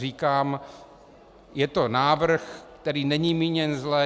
Říkám, je to návrh, který není míněn zle.